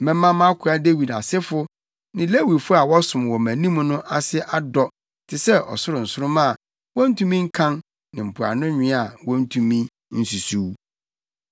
Mɛma mʼakoa Dawid asefo ne Lewifo a wɔsom wɔ mʼanim no ase adɔ te sɛ ɔsoro nsoromma a wontumi nkan ne mpoano nwea a wontumi nsusuw.’ ”